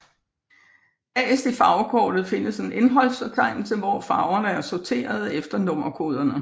Bagerst i farvekort findes en indholdsfortegnelse hvor farverne er sorteret efter nummerkoderne